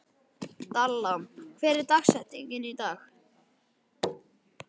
Dalla, hver er dagsetningin í dag?